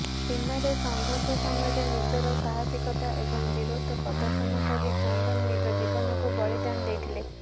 ସୀମାରେ ସଂଘର୍ଷ ସମୟରେ ନିଜର ସାହସିକତା ଏବଂ ବୀରତ୍ୱ ପ୍ରଦର୍ଶନ କରି ଚନ୍ଦନ ନିଜ ଜୀବନକୁ ବଳିଦାନ ଦେଇଥିଲେ